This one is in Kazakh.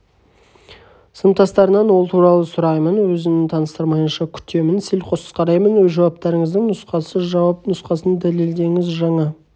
сыныптастарынан ол туралы сұраймын өзін таныстырмайынша күтемін селқос қараймын өз жауаптарыңыздың нұсқасы жауап нұсқасын дәлелдеңіз жаңа